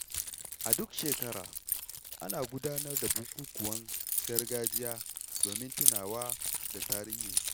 A duk shekara, ana gudanar da bukukuwan gargajiya domin tunawa da tarihinsu.